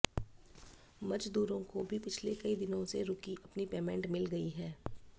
मजदूरों को भी पिछले कई दिनों से रुकी अपनी पेमेंट मिल गई है